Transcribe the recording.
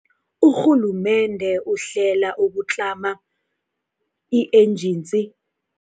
Urhulumende uhlela ukutlama i-ejensi